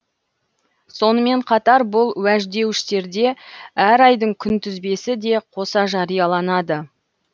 сонымен қатар бұл уәждеуіштерде әр айдың күнтізбесі де қоса жарияланады